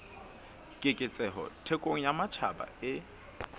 keketseho thekong ya matjhaba e